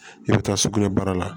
I bɛ taa sugunɛ bara la